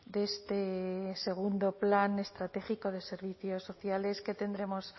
de este segundo plan estratégico de servicios sociales que tendremos